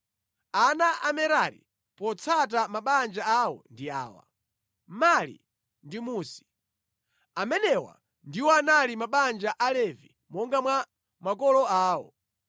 Ana a Merari potsata mabanja awo ndi awa: Mali ndi Musi. Amenewa ndiwo anali mabanja a Alevi monga mwa makolo awo.